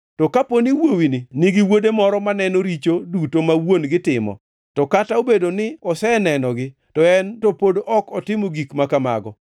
“To kaponi wuowini nigi wuode moro maneno richo duto ma wuon-gi timo, to kata obedo ni osenenogi; to en to pod ok otimo gik ma kamago: